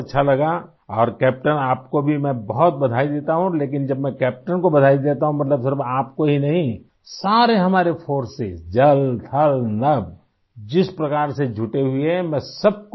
بہت اچھا لگا اور کیپٹن آپ کو بھی میں بہت مبارکباد دیتا ہوں لیکن جب میں کیپٹن کو مبارکباد دیتا ہوں تو اس کا مطلب صرف آپ کو ہی نہیں بلکہ یہ ہماری فضائیہ، بحریہ اور بری افواج کے لئے بھی ہے ، جو اس طرح مصروف ہیں